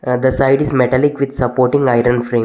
Ah the side is metallic with supporting iron frame.